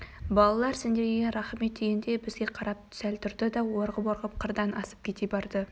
балалар сендерге рақмет дегендей бізге қарап сәл тұрды да орғып-орғып қырдан асып кете барды